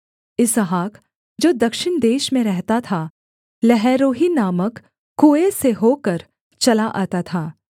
इसहाक जो दक्षिण देश में रहता था लहैरोई नामक कुएँ से होकर चला आता था